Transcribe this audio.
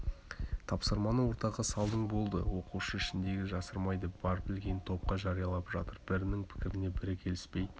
тапсырманы ортаға салдың болды оқушы ішіндегіні жасырмайды бар білгенін топқа жариялап жатыр бірінің пікіріне бірі келіспей